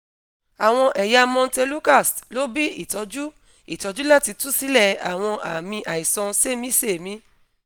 awọn ẹya montelukast – lo bi itọju itọju lati tu silẹ awọn aami aisan semisemi